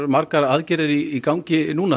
margar aðgerðir í gangi núna